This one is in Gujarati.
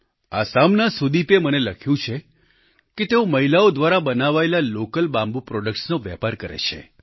આસામના સુદીપે મને લખ્યું કે તેઓ મહિલાઓ દ્વારા બનાવાયેલા લોકલ બામ્બૂ પ્રોડક્ટ્સ નો વેપાર કરે છે